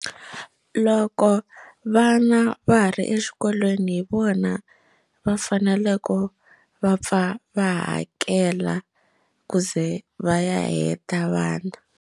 Loko vana va ha ri exikolweni hi vona va faneleke va pfa va hakela ku ze va ya heta vana.